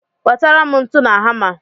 Wetara m ntu na hama!